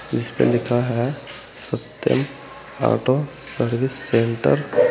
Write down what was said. जिसपे लिखा है सत्यम ऑटो सर्विस सेंटर ।